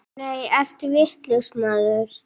Nei, ertu vitlaus maður!